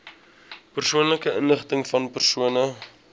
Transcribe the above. persoonlike inligtingvan persone